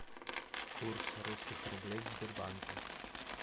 курс русских рублей в сбербанке